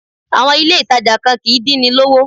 Àwọn ilé ìtàjà kan kìí dín ni lówó.